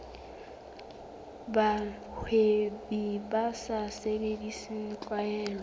bahwebi ba sa sebedise tlwaelo